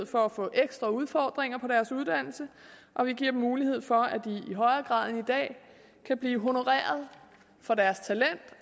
for at få ekstra udfordringer på deres uddannelse og vi giver dem mulighed for at de i højere grad end i dag kan blive honoreret for deres talent